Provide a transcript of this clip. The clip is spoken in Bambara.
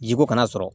Jiko kana sɔrɔ